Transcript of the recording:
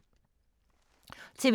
TV 2